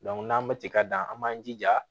n'an bɛ cɛ ka dan an b'an jija